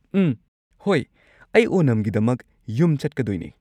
ꯎꯝ, ꯍꯣꯏ, ꯑꯩ ꯑꯣꯅꯝꯒꯤꯗꯃꯛ ꯌꯨꯝ ꯆꯠꯀꯗꯣꯏꯅꯤ꯫